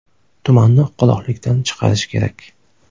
Tumanni qoloqlikdan chiqarish kerak.